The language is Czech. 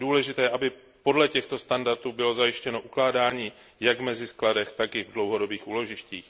Je důležité, aby podle těchto standardů bylo zajištěno ukládání jak v meziskladech, tak i v dlouhodobých úložištích.